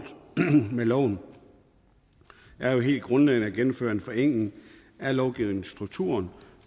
med loven er jo helt grundlæggende at gennemføre en forenkling af lovgivningsstrukturen